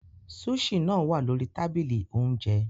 Sushi náà wà lórí tábìlì oúnjẹ.